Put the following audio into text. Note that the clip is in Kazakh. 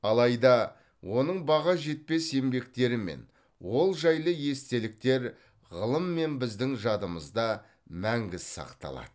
алайда оның баға жетпес еңбектері мен ол жайлы естеліктер ғылым мен біздің жадымызда мәңгі сақталады